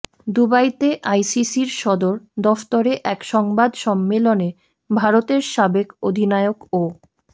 দুবাইতে আইসিসির সদর দফ্তরে এক সংবাদ সম্মেলনে ভারতের সাবেক অধিনায়ক ও